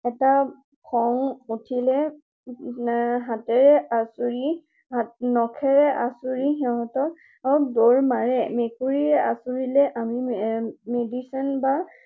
এটা খং উঠিলে হাতেৰে আঁচুৰি, নখেৰে আঁচুৰি সিহতক দৌৰ মাৰে। মেকুৰীয়ে আঁচুৰিলে আমি medicine বা